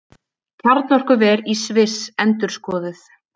Kjarnorkuver í Sviss endurskoðuð